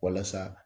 Walasa